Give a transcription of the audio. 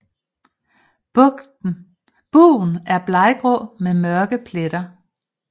Bugen er bleggrå med mørke pletter